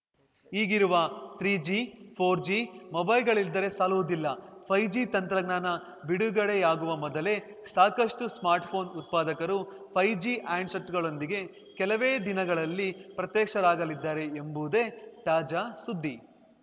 ಈಗಿರುವ three G four G ಮೊಬೈಲ್‌ಗಳಿದ್ದರೆ ಸಾಲುವುದಿಲ್ಲ ಫೈವ್ ಜಿ ತಂತ್ರಜ್ಞಾನ ಬಿಡುಗಡೆಯಾಗುವ ಮೊದಲೇ ಸಾಕಷ್ಟುಸ್ಮಾರ್ಟ್‌ಫೋನ್‌ ಉತ್ಪಾದಕರು ಫೈವ್ ಜಿ ಹ್ಯಾಂಡ್‌ಸೆಟ್‌ಗಳೊಂದಿಗೆ ಕೇಲವೇ ದಿನಗಳಲ್ಲಿ ಪ್ರತ್ಯಕ್ಷರಾಗಲಿದ್ದಾರೆ ಎಂಬುದೇ ತಾಜಾ ಸುದ್ದಿ